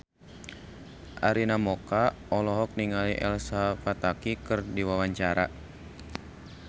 Arina Mocca olohok ningali Elsa Pataky keur diwawancara